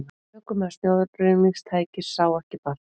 Ökumaður snjóruðningstækisins sá ekki barnið